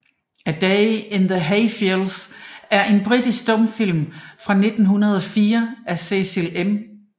A Day in the Hayfields er en britisk stumfilm fra 1904 af Cecil M